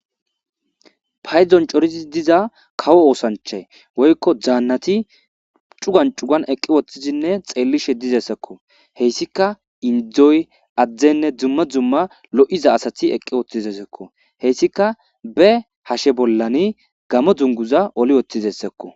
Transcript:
paydon corizi diza kawo oosanchay woykko zaannati cugan cugan eqqi woththizinne xeelli she dizessekko heyssika indzoy addenne dzumma dzumma lo7iza asati eqqi woththizesekko heyssika be hashe bollani gamo dunguza oli wottizessakko